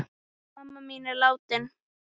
Mamma mín er látin.